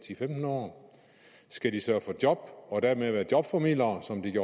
til femten år skal de sørge for job og dermed være jobformidlere som de